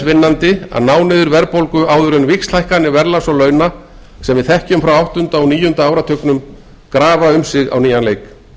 vinnandi að ná niður verðbólgu áður en víxlhækkanir verðlags og launa sem við þekkjum frá áttunda og níunda áratugnum grafa um sig á nýjan leik